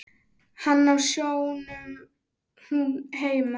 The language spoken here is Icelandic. Hann á sjónum, hún heima.